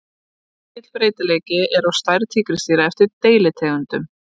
Mikill breytileiki er á stærð tígrisdýra eftir deilitegundum.